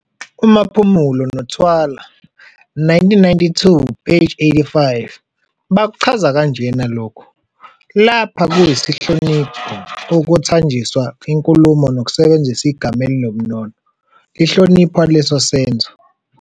UMaphumulo noThwala, 1992-85, bakuchaza kanjena lokhu- "Lapha kusihlonipho kuthanjiswa inkulumo ngokusebenzisa igama elinobunono, lihlonipha leso senzo.